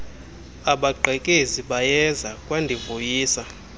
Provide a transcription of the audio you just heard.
abagqekezi bayeza kwandivuyisa